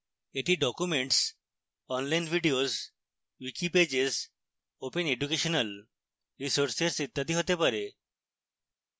এটি documents online videos wiki pages open educational resources ইত্যাদি হতে পারে